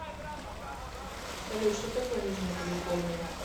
салют что такое нижняя калифорния